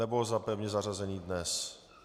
Nebo za pevně zařazený dnes.